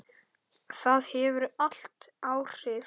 Það hefur allt áhrif.